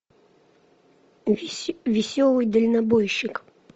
веселый дальнобойщик